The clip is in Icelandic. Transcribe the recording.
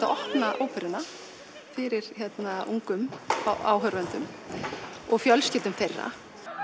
að opna óperuna fyrir ungum áhorfendum og fjölskyldum þeirra